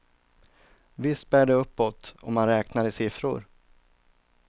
Visst bär det uppåt, om man räknar i siffror.